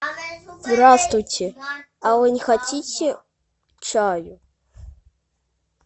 здравствуйте а вы не хотите чай